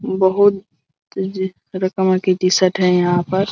बहुत तरह-तरह की टी शर्ट है यहां पर।